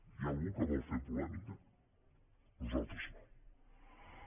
hi ha algú que vol fer polèmica nosaltres no